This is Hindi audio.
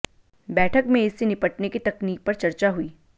बैठक में इससे निपटने की तकनीक पर चर्चा हुई